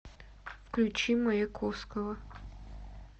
включи маяковского